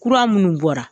Kura minnu bɔra